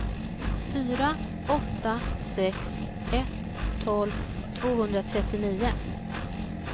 fyra åtta sex ett tolv tvåhundratrettionio